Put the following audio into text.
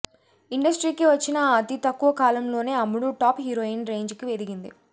ఇండ్రస్టీకి వచ్చిన అతి తక్కువ కాలంలోనే అమ్మడు టాప్ హీరోయిన్ రేంజికి ఎదిగింది